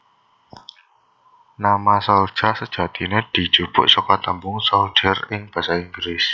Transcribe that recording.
Nama Souljah sejatine dijupuk saka tembung soldier ing basa Inggris